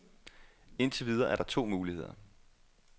Indtil videre er der to muligheder.